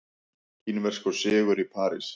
Kínverskur sigur í París